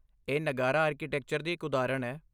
ਇਹ ਨਗਾਰਾ ਆਰਕੀਟੈਕਚਰ ਦੀ ਇੱਕ ਉਦਾਹਰਣ ਹੈ।